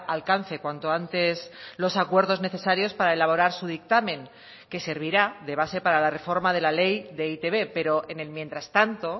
alcance cuanto antes los acuerdos necesarios para elaborar su dictamen que servirá de base para la reforma de la ley de eitb pero en el mientras tanto